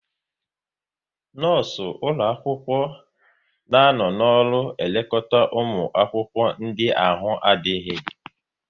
Nọọsụ ụlọ akwụkwọ na anọ n'ọrụ elekọta ụmụ akwụkwọ ndị ahụ na-adịghị